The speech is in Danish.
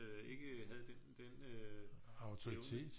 Ikke havde den evne